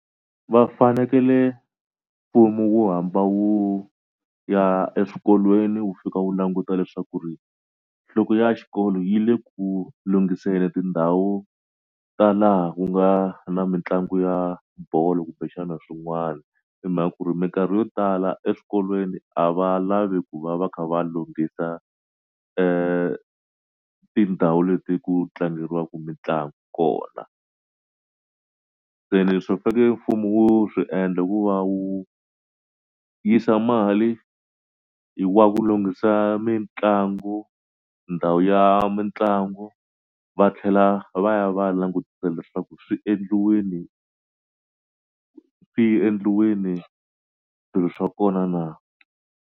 Va fanekele mfumo wu hamba wu ya eswikolweni wu fika wu languta leswaku ri nhloko ya xikolo yi le ku lunghisela tindhawu ta laha ku nga na mitlangu ya bolo kumbexana swin'wana hi mhaka ku ri minkarhi yo tala eswikolweni a va lavi ku va va kha va lunghisa tindhawu leti ku tlangeriwaku mitlangu kona se ni leswi va fanekele mfumo wu swi endla ku va wu yisa mali yi wa ku lunghisa mitlangu ndhawu ya mitlangu va tlhela va ya va ya langutisa leswaku swi endliwini swi endliwini swilo swa kona na.